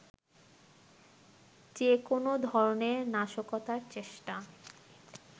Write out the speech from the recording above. যে কোনো ধরনের নাশকতার চেষ্টা